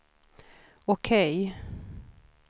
OK